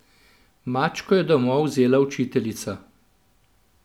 Mačko je domov vzela učiteljica.